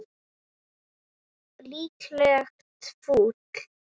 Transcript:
Líklegt fúl.